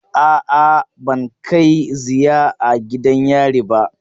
A'a, ban kai ziya a gidan yari ba.